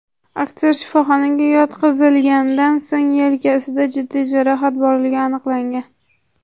Aktyor shifoxonaga yotqizilgandan so‘ng yelkasida jiddiy jarohat borligi aniqlangan.